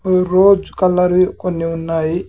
Rose colour వి కొన్ని ఉన్నాయి.